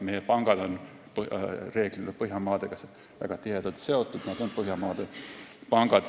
Meie pangad on Põhjamaadega väga tihedalt seotud, nad on Põhjamaade pangad.